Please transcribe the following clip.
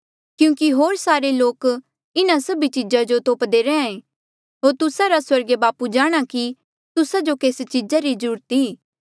क्यूंकि होर सारे लोक इन्हा सभ चीजा जो तोप्दे रैंहयां ऐें होर तुस्सा रा स्वर्गीय बापू जाणहां कि तुस्सा जो केस चीजा री ज्रूरत ई